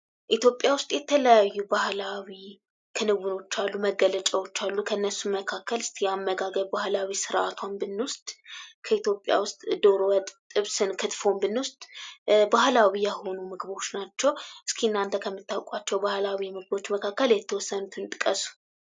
ኢትዮጵያ ውስጥ የተለያዩ ባህላዊ ክንውኖች አሉ፣ መገለጫወች አሉ። ከነሱም መካከል እስቲ የአመጋገብ ባህላዊ ስርአቷን ብንወስድ ከኢትዮጵያ ውስጥ ዶሮ ወጥ፣ ጥብስን፣ ክትፎን ብንወስድ ባህላዊ የሆኑ ምግቦች ናቸው። እስኪ እናንተ ከምታውቋቸው ባህላዊ ምግቦች መካከል የተወሰኑትን ጥቀሱ።